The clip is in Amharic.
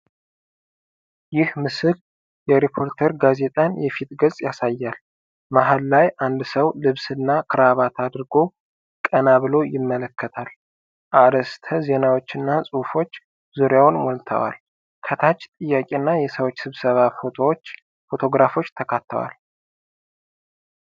ይህ ምስል የሪፖርተር ጋዜጣን የፊት ገጽ ያሳያል። መሃል ላይ አንድ ሰው ልብስና ክራባት አድርጎ ቀና ብሎ ይመለከታል፤ አርዕስተ ዜናዎችና ጽሑፎች ዙሪያውን ሞልተዋል። ከታች ጥያቄ እና የሰዎች ስብሰባ ፎቶግራፎች ተካተዋል።